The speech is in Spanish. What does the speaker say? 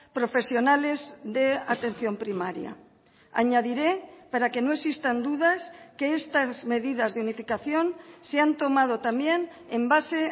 profesionales de atención primaria añadiré para que no existan dudas que estas medidas de unificación se han tomado también en base